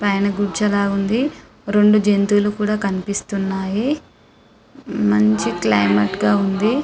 పైన గుడిచ లాగా ఉంది రెండు జంతువులు కూడా కనిపిస్తున్నాయి మంచి క్లైమేట్ గ ఉంది .